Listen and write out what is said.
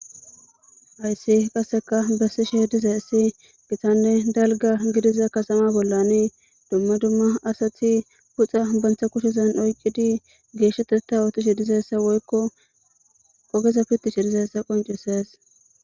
Hayssi qasseka bessishe dizayissi gitanne dalga gidiza katama bollani dumma dumma asati puxa banta kushezan oyiqidi geeshsheteta ootishi dizayissa woykko ogeza pittishi dizayissa qoncisees